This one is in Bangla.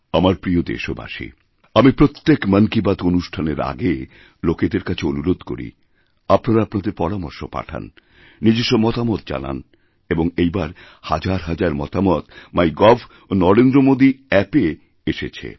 আমার প্রিয় দেশবাসী আমিপ্রত্যেক মন কি বাত অনুষ্ঠানের আগে লোকেদের কাছে অনুরোধ করছি আপনারা আপনাদেরপরামর্শ পাঠান নিজস্ব মতামত জানান এবং এইবার হাজার হাজার মতামত মাইগভ ও নরেন্দ্র মোদি App এ পরামর্শএসেছে